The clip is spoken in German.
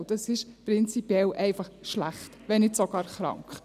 Dies ist prinzipiell schlecht, wenn nicht sogar krank.